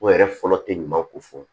O yɛrɛ fɔlɔ tɛ ɲuman ko fɔ